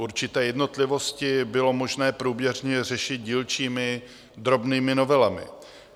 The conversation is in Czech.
Určité jednotlivosti bylo možné průběžně řešit dílčími drobnými novelami.